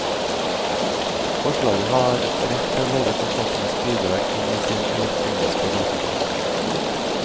Forlaget har rett til å legge forfatterens bidrag inn i sin elektroniske database.